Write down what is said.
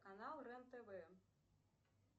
канал рен тв